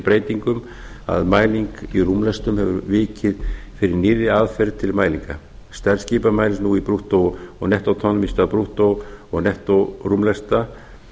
breytingum að mæling í rúmlestum hefur vikið fyrir nýrri aðferð til mælinga stærð skipa mælist nú í brúttó og nettó tonnum í stað brúttó og nettó rúmlesta